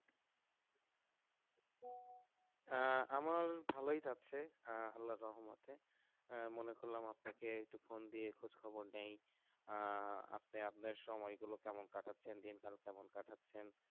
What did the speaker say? আহ আমার ভালই যাচ্ছে আল্লাহর রহমতে মনে করলাম আপনাকে একটু ফোন দিয়ে খোঁজ খবর নেই আহ আপনি আপনার সময় গুলো কেমন কাটাচ্ছেন দিনকাল কেমন কাটাচ্ছেন